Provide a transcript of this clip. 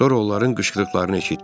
Sonra onların qışqırıqlarını eşitdik.